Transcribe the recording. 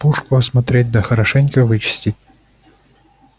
пушку осмотреть да хорошенько вычисти